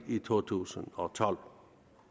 to tusind og tolv